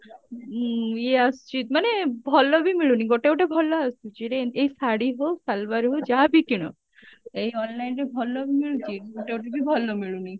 ଉଁ ଇଏ ଆସୁଛି ମାନେ ଭଲ ବି ମିଳୁନି ଗୋଟେ ଗୋଟେ ଭଲ ଆସୁଛି ଏଇ ଶାଢୀ ହଉ salwar ହଉ ଯାହା ବି କିଣ ଏଇ online ରେ ଭଲ ମିଳୁଛି ଗୋଟେ ଗୋଟେ ବି ଭଲ ମିଳୁନି